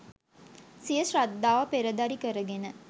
සිය ශ්‍රද්ධාව පෙරදරී කරගෙන